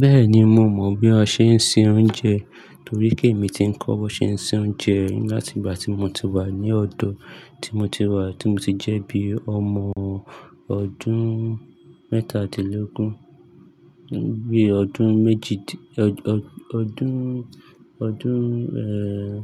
Bẹ́ẹ̀ni, mo mọ̀ bí a ṣe ń se oúnjẹ, torí pé èmi ti ń kọ́ bí wọn ṣe ń ṣe oúnjẹ láti ìgbà tí mo ti wà ní ọ̀dọ̀, tí mo ti wà, tí mo ti jẹ́ bí ọmọ ọdún mẹ́tàdínlógún. Bí ọdún méjìdín-- ọdún, ọdún, eh,